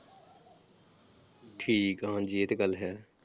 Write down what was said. ਠੀਕ ਆ ਹਾਂਜੀ ਇਹ ਤੇ ਗੱਲ ਹੈ।